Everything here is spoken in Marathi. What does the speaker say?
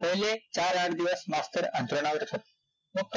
पहिले चार-आठ दिवस मास्तर अंथरुणावरचं होता, मग